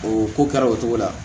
O ko kɛra o cogo la